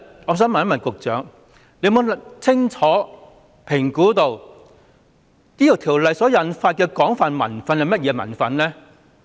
我想問局長有否清楚評估修例所引發的廣泛民憤為何？